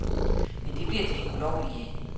Men det bliver de ikke ulovlige af.